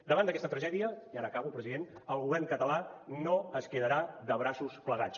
davant d’aquesta tragèdia i ara acabo president el govern català no es quedarà de braços plegats